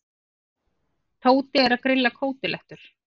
Tóti er að grilla kótilettur.